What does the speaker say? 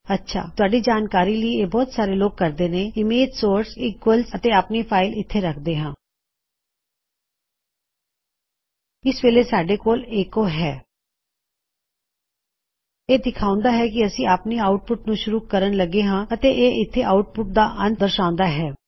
ਅੱਛਾ ਤੁਹਾਡੀ ਜਾਣਕਾਰੀ ਲਈ ਇਹ ਬਹੁਤ ਸਾਰੇ ਲੋਗ ਕਰਦੇ ਨੇ ਇਮੇਜ਼ ਸੋਰਸ ਇਕਵਅਲਸ੍ ਅਤੇ ਆਪਣੀ ਫਾਇਲ ਇੱਥੇ ਰਖਦੇ ਹਾ ਇਸ ਵੇਲੇ ਸਾੱਡੇ ਕੋਲ ਐੱਕੋ ਹੈ ਇਹ ਦਿਖਾਉਂਦਾ ਹੈ ਕੀ ਅਸੀਂ ਆਪਣੀ ਆਉਟਪੁਟ ਨੂੰ ਸ਼ੁਰੂ ਕਰਨ ਲੱਗੇ ਹਾਂ ਅਤੇ ਇਹ ਇਥੇ ਆਉਟਪੁਟ ਦਾ ਅੰਤ ਦਰਸ਼ਾਉਂਦਾ ਹਾਂ